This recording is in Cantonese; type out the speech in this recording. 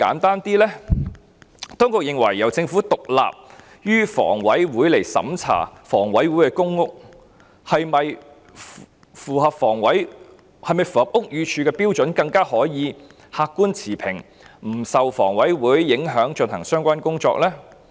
當局是否認為，由獨立於房委會的政府部門審查房委會的公屋是否符合屋宇署標準，會更客觀持平，可在不受房委會的影響下進行相關工作呢？